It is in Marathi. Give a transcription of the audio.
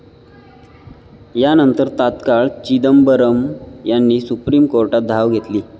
यानंतर तात्काळ चिदंबरम यांनी सुप्रीम कोर्टात धाव घेतली आहे.